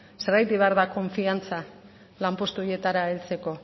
zergatik behar da konfiantza lanpostu horietara heltzeko